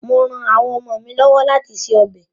Mò ran àwọn ọmọ mi lọ́wọ́ láti se ọbẹ̀.